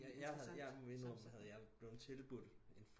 Jeg havde jeg må indrømme havde jeg blevet tilbudt en